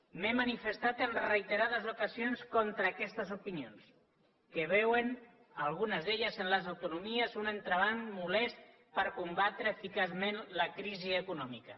m’he manifestat en reiterades ocasions contra aquestes opinions que veuen algunes d’elles en les autonomies un entrebanc molest per combatre eficaçment la crisi econòmica